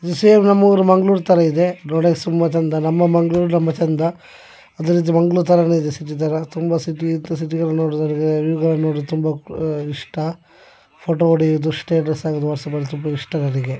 ಈ ಶಹರು ನಮ್ಮ ಮಂಗ್ಳೂರ್ ತಾರಾ ಇದೆ ನೋಡೋಕೆ ತುಂಬಾ ಚಂದ ನಮ್ಮ ಮಂಗ್ಳೂರ್ ನಮ್ಮ ಚಂದ. ಸಿಟಿ ನೋಡಿದರೆ ತುಂಬಾ ಇಷ್ಟ ಫೋಟೋ ಹೊಡೆಯುವುದು ಸ್ಟೇಟಸ್ ಹಾಕುವುದು ವಾಟ್ಸಪ್ ಅಲ್ಲಿ ತುಂಬಾ ಇಷ್ಟ.